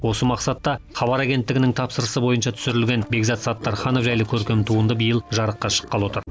осы мақсатта хабар агенттінің тапсырысы бойынша түсірілген бекзат саттарханов жайлы көркем туынды биыл жарыққа шыққалы отыр